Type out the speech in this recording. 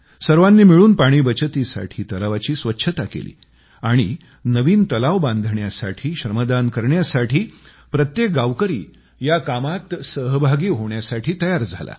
सर्वांनी मिळून पाणी बचतीसाठी तलावाची स्वच्छता केली आणि नवीन तलाव बनवण्यासाठी श्रमदान करण्यासाठी प्रत्येक गावकरी या कामामध्ये सहभागी होण्यासाठी तयार झाले